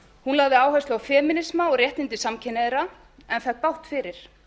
hún lagði áherslu á femínisma og réttindi samkynhneigðra en fékk bágt fyrir